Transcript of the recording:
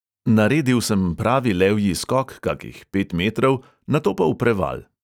Naredil sem pravi levji skok, kakih pet metrov, nato pa v preval.